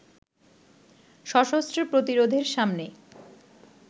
সশস্ত্র প্রতিরোধের সামনে